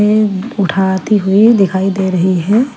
उठाती हुई दिखाई दे रही है।